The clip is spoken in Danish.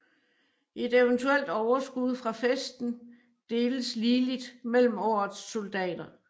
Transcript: Et eventuelt overskud fra festen deles ligeligt mellem årets soldater